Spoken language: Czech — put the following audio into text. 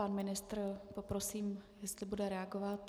Pan ministr, poprosím, jestli bude reagovat.